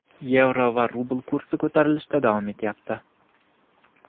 yevro va rubl kursi ko‘tarilishda davom etyapti.